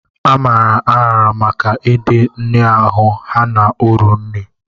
A maara aghara maka ịdị nhịahụ ha na uru nri.